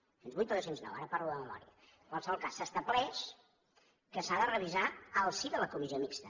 dos cents i vuit o dos cents i nou ara parlo de memòria en qualsevol cas s’estableix que s’ha de revisar al si de la comissió mixta